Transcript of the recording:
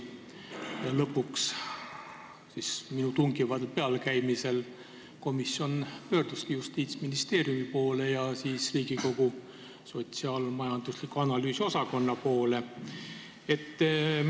Ja lõpuks siis, minu tungival pealekäimisel komisjon pöörduski Justiitsministeeriumi poole ja ka Riigikogu õigus- ja analüüsiosakonna poole.